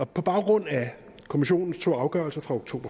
på baggrund af kommissionens to afgørelser fra oktober